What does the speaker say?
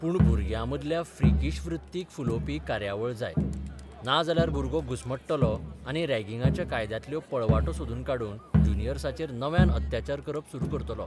पूण भुरग्यामदल्या फ्रिकीश वृत्तीक फुलोबपी कार्यावळ जाय, नाजाल्यार भुरगो घुस्मट्टलो आनी रॅगिंगाच्या कायद्यांतल्यो पळवाटो सोदून काडून ज्युनियर्साचेर नव्यान अत्याचार करप सुरू करतलो.